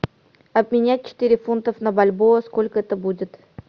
обменять четыре фунтов на бальбоа сколько это будет